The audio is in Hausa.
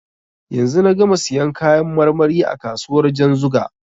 Yanzu na gama siyan kayan marmari a kasuwar Janzuga.